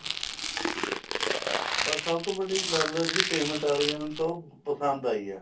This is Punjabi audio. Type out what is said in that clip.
ਪਰ ਸਬ ਤੋਂ ਵੱਡੀ ਗੱਲ ਉਹ ਜਿਹੜੀ payment ਵਾਲੀ ਐ ਮੈਨੂੰ ਤਾਂ ਉਹ ਪਸੰਦ ਆਈ ਐ